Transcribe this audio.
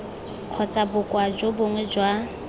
kgotsa bokoa jo bongwe jwa